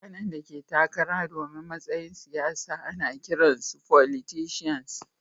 Mutane da ke takara domin matsayin siyasa ana kiran su"Folitisans."